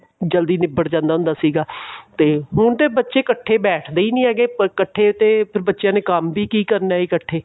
ਜਲਦੀ ਨਿਬੜ ਜਾਂਦਾ ਹੁੰਦਾ ਸੀਗਾ ਤੇ ਬਹੁਤੇ ਬੱਚੇ ਇੱਕਠੇ ਬੈਠ ਦੇ ਹੀ ਨਹੀਂ ਹੈਗੇ ਤੇ ਫੇਰ ਬੱਚਿਆ ਨੇ ਕੰਮ ਵੀ ਕਿ ਕਰਨਾ ਇੱਕਠੇ